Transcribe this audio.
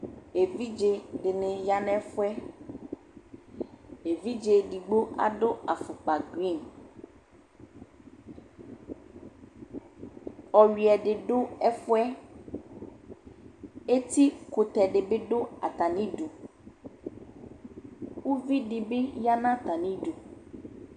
Evidze dini ya nu efu yɛ Evidze edigbo adu afukpa ugbatawla Ɔyuiɛ di du ɛfu yɛ Etikutɛ di bi du atami idu Uvi di bi ya nu atami idu